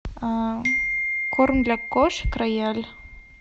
корм для кошек рояль